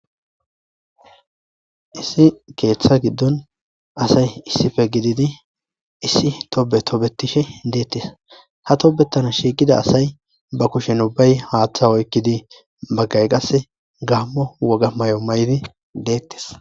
Issi keetha gidon asay issipe gididi issi tobe tobetishe deetes ha tobetana shiiqida asay ba kushen ubbay haathe oykidi bagay kase gaamo woga mayo mayidi deetes.